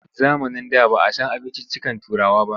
Zamanin da ba a san abinciccikan Turawa ba.